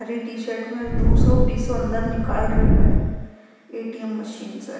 हरी t shirt में दूसरो पिसों अंदर निकाल रियो है ए.टी.एम. मशीन से।